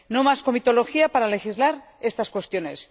No más comitología para legislar estas cuestiones.